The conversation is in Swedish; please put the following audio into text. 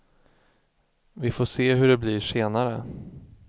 Vi får se hur det blir senare.